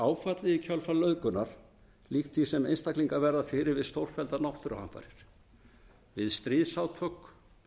áfallið í kjölfar nauðgunar líkt því sem einstaklingar verða fyrir við stórfelldar náttúruhamfarir við stríðsátök